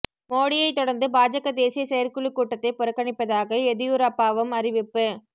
மோடியைத் தொடர்ந்து பாஜக தேசிய செயற்குழுக் கூட்டத்தை புறக்கணிப்பதாக எதியூரப்பாவும் அறிவிப்பு